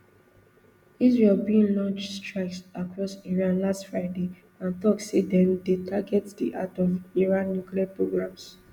israel bin launch strikes across iran last fridayand tok say dem dey target di heart of iran nuclear programme